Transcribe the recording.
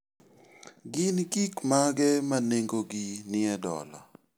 Gin gik mage ma nengogi nie dola?